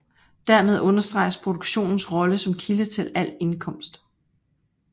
Dermed understreges produktionens rolle som kilde til al indkomst